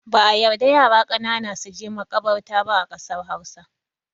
Ba'a yarda yara ƙanana suje maƙabarta ba a ƙasar Hausa.